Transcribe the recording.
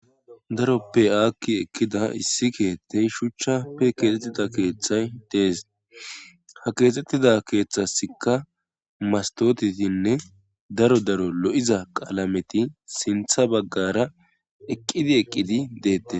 darope aakki eqkida issi keethtey shuchchappe keexettida keeththay dees ha keexettida keeththasikka mastotitinne daro daro lo'iza qaalameti sintha baggara eqqidi eqqidi deette